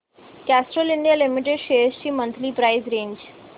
Castrol India limited shares ची monthly price range